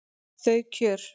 Þau kjör